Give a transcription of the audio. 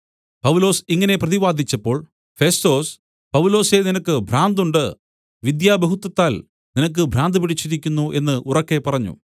പൗലോസ് ഇങ്ങനെ പ്രതിവാദിച്ചപ്പോൾ ഫെസ്തൊസ് പൗലൊസേ നിനക്ക് ഭ്രാന്തുണ്ട് വിദ്യാബഹുത്വത്താൽ നിനക്ക് ഭ്രാന്ത് പിടിച്ചിരിക്കുന്നു എന്ന് ഉറക്കെ പറഞ്ഞു